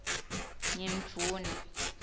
ngimdvuna